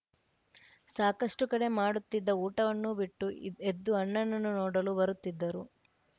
ಸಾಕಷ್ಟುಕಡೆ ಮಾಡುತ್ತಿದ್ದ ಊಟವನ್ನೂ ಬಿಟ್ಟು ಎದ್ದು ಅಣ್ಣನನ್ನು ನೋಡಲು ಬರುತ್ತಿದ್ದರು